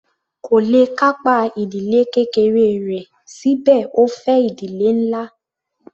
Kò le kápá ìdílé kékeré rẹ̀ síbẹ̀ ó fẹ́ ìdílé ńlá.